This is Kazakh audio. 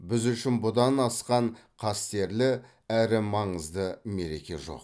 біз үшін бұдан асқан қастерлі әрі маңызды мереке жоқ